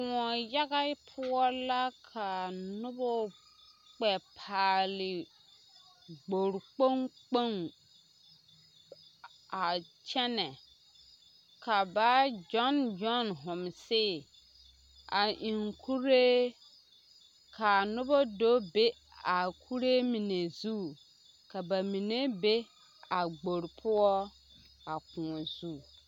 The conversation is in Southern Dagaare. Koɔ yaga poɔ la ka noba kpɛ paale gbori kpoŋ kpoŋ a kyɛnɛ ka ba gyɔn gyɔn homsii a eŋ kuree ka a noba do be a kuree mine zu ka ba mine be a gbori poɔ a koɔ zu.